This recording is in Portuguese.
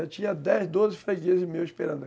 Já tinha dez, doze fregueses meus esperando.